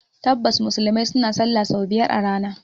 Tabbas, Musulmai suna sallah sau biyar a rana